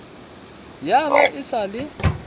ya ba e sa le